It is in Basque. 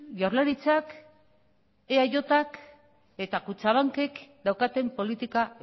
jaurlaritzak eajk eta kutxabankek daukaten politika